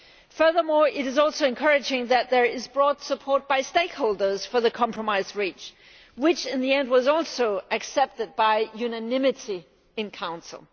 Furthermore, it is also encouraging that there is broad support among stakeholders for the compromise reached, which in the end was also accepted by unanimity in Council.